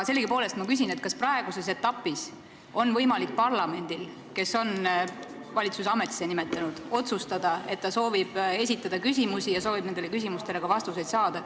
Sellegipoolest ma küsin, kas praeguses etapis on võimalik parlamendil, kes on valitsuse ametisse nimetanud, otsustada, et ta soovib esitada küsimusi ja soovib nendele küsimustele ka vastuseid saada.